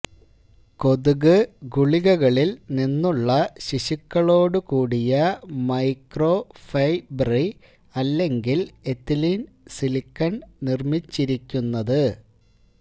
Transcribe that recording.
കൊതുക് ഗുളികകളിൽ നിന്നുള്ള ശിശുക്കളോടുകൂടിയ മൈക്രോഫ്രെബ്രറി അല്ലെങ്കിൽ എഥിലീൻ സിലിക്കൺ നിർമ്മിച്ചിരിക്കുന്നത്